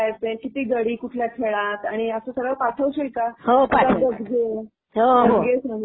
व्यवस्थित ठेव हां सगळे. कसे खेळायचे, किती गडी कुठल्या खेळात, आणि असं सगळं पाठवशील का?